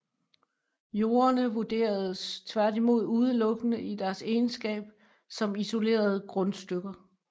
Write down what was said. Jordene vurderedes tværtimod udelukkende i deres egenskab som isolerede grundstykker